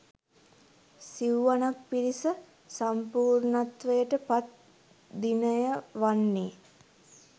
සිව්වනක් පිරිස සම්පූර්ණත්වයට පත් දිනය වන්නේ